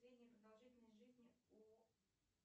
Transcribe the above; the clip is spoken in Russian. средняя продолжительность жизни у